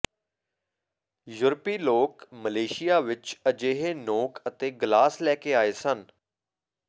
ਯੂਰਪੀ ਲੋਕ ਮਲੇਸ਼ੀਆ ਵਿਚ ਅਜਿਹੇ ਨੋਕ ਅਤੇ ਗਲਾਸ ਲੈ ਕੇ ਆਏ ਸਨ